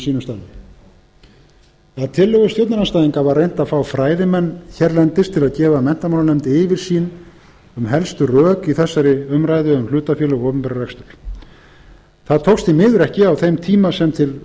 starfi að tillögu stjórnarandstæðinga var reynt að fá fræðimenn hér til að gefa menntamálanefnd yfirsýn um helstu rök í þessari umræðu um hlutafélög og opinberan rekstur það tókst því miður ekki á þeim tíma sem til